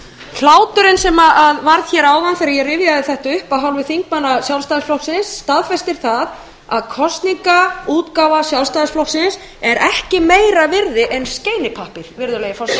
hláturinn sem varð hér áðan þegar ég rifjaði þetta upp af hálfu þingmanna sjálfstæðisflokksins staðfestir það að kosningaútgáfa sjálfstæðisflokksins er ekki meira virði en skeinipappír og það hefur verið staðfest hér í öðru lagi vil ég